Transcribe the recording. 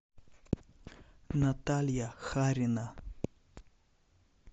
наталья харина